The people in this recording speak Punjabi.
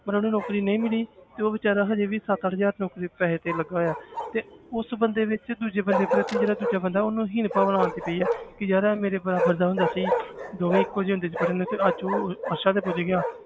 ਪਰ ਉਹਨੂੰ ਨੌਕਰੀ ਨਹੀਂ ਮਿਲੀ ਤੇ ਉਹ ਬੇਚਾਰਾ ਹਜੇ ਵੀ ਸੱਤ ਅੱਠ ਹਜ਼ਾਰ ਨੌਕਰੀ ਪੈਸੇ ਤੇ ਲੱਗਾ ਹੋਇਆ ਤੇ ਉਸ ਬੰਦੇ ਵਿੱਚ ਦੂਜੇ ਪ੍ਰਤੀ ਜਿਹੜਾ ਦੂਜਾ ਬੰਦਾ ਉਹਨੂੰ ਹੀਨ ਭਾਵਨਾ ਆਉਂਦੀ ਪਈ ਹੈ ਕਿ ਯਾਰ ਇਹ ਮੇਰੇ ਬਰਾਬਰ ਦਾ ਹੁੰਦਾ ਸੀ ਦੋਵੇਂ ਇੱਕੋ ਜਿਹੇ ਹੁੰਦੇ ਸੀ ਪੜ੍ਹਨ ਵਿੱਚ ਅੱਜ ਉਹ ਅਰਸ਼ਾਂ ਤੇ ਪੁੱਜ ਗਿਆ